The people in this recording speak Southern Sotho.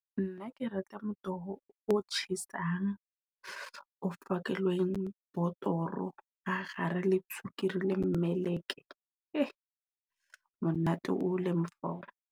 Nna ke reka motoho o tjhesang o fakilweng botoro ka kgare le, tswekere le mmeleko e monate. Monate o leng fao.